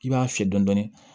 I b'a fiyɛ dɔɔnin dɔɔnin